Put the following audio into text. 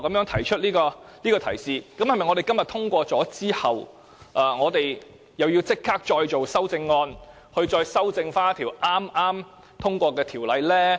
提出這樣的提述，是否我們今天通過《條例草案》後，便要立即再行修改，以期修正剛通過的條例呢？